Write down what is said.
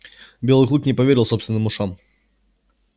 белый клык не поверил собственным ушам